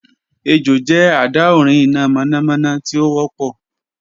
Ejò jẹ adaorin ina mọnamọna ti o wọpọ